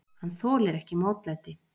Hann þolir ekki mótlæti.